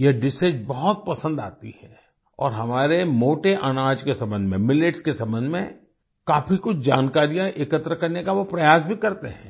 यह डिशेस बहुत पसंद आती है और हमारे मोटे अनाज के संबंध में मिलेट्स के संबंध में काफ़ी कुछ जानकारियाँ एकत्र करने का वो प्रयास भी करते हैं